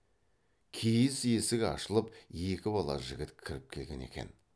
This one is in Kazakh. киіз есік ашылып екі бала жігіт кіріп келген екен